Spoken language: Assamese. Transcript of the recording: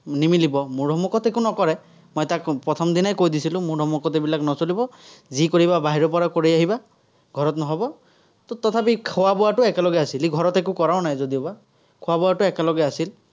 নিমিলিব। মোৰ সন্মুখতে একো নকৰে, মই তাক প্ৰথম দিনাই কৈ দিছিলো, মোৰ সন্মুখত এইবিলাক নচলিব, যি কৰিবা বাহিৰৰপৰা কৰি আহিবা, ঘৰত নহ'ব। তথাপি খোৱা-বোৱাটো একেলগে আছিল। সি ঘৰত একো কৰাও নাই যদিও বা, খোৱা-বোৱাটো একেলগে আছিল।